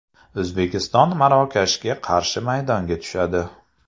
O‘zbekiston Marokashga qarshi maydonga tushadi.